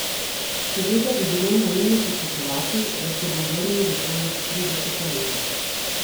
Seveda bi bilo naivno pričakovati, da se bom vrnil v svoja štirideseta leta.